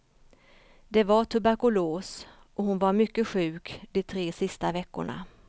Det var tuberkulos och hon var mycket sjuk de tre sista veckorna.